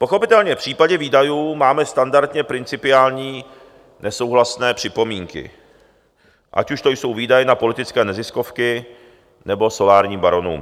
Pochopitelně v případě výdajů máme standardně principiální nesouhlasné připomínky, ať už to jsou výdaje na politické neziskovky, nebo solárním baronům.